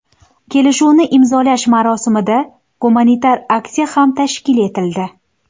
Kelishuvni imzolash marosimida gumanitar aksiya ham tashkil etildi.